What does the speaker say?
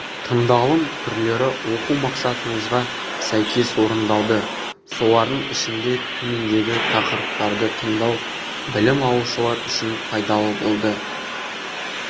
тыңдалым түрлері оқу мақсатымызға сәйкес орындалды солардың ішінде төмендегі тақырыптарды тыңдау білім алушылар үшін пайдалы болды